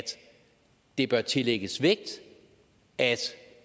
det bør tillægges vægt at